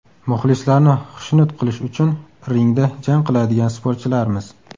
Muxlislarni xushnud qilish uchun ringda jang qiladigan sportchilarmiz.